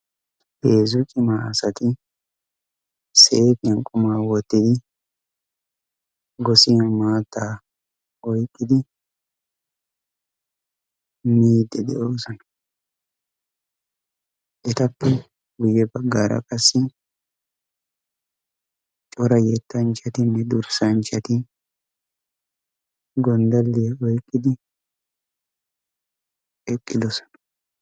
heezzu cimma asati seefan qumma wotidi gosiyan maata oyqqidi miidi de'oosona. etappe guye bagaara cora yetanchatinne dursanchati gonddaliya oyqiidi de'oosona.